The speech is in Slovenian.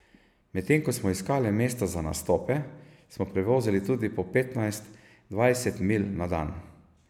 Medtem ko smo iskali mesta za nastope, smo prevozili tudi po petnajst, dvajset milj na dan.